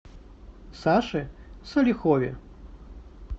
саше салихове